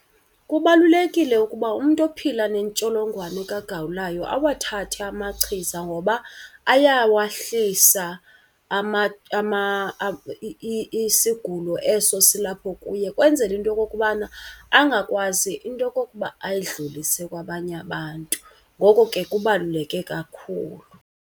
Kubalulekile ukuba umntu ophila nentsholongwane kagawulayo awathathe amachiza ngoba ayawahlisa isigulo eso silapho kuye ukwenzela into yokokubana angakwazi into okokuba ayidlulisele kwabanye abantu. Ngoko ke kubaluleke kakhulu.